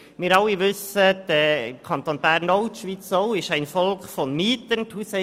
Wir alle wissen, dass der Kanton Bern und auch die Schweiz aus einem Volk von Mietern besteht.